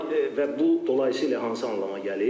və bu dolayısı ilə hansı anlama gəlir?